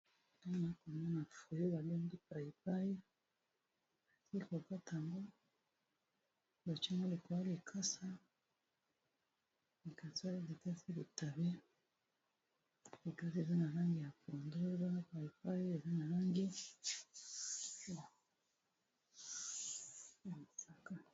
Awa tozomona mbuma oyo babengi na kombo ya paipai basi bakati yango mbala mibale eza likolo ya likasa ya litabe likasi eza na lange ya pondu, paipai eza na lange ya mosaka.